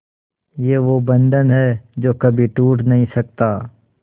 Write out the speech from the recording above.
ये वो बंधन है जो कभी टूट नही सकता